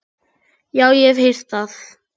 Já, ég hef heyrt það.